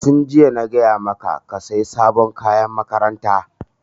Tun jiya na gaya maka ka saya sabon kayan makaranta!